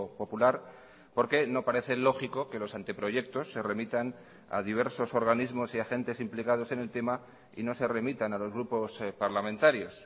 popular porque no parece lógico que los anteproyectos se remitan a diversos organismos y agentes implicados en el tema y no se remitan a los grupos parlamentarios